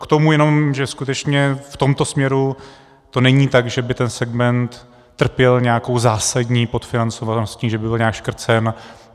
K tomu jenom, že skutečně v tomto směru to není tak, že by ten segment trpěl nějakou zásadní podfinancovaností, že by byl nějak škrcen.